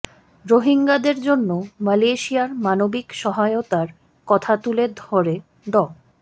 রোহিঙ্গাদের জন্য মালয়েশিয়ার মানবিক সহায়তার কথা তুলে ধরে ড